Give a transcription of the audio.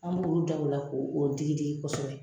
An b'olu da o la k'o digidigi kosɛbɛ